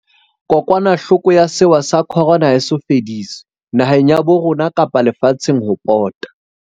Kokwanahloko ya sewa sa Corona ha e so fediswe, naheng ya bo rona kapa le fatsheng ho pota.